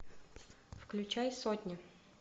включай сотню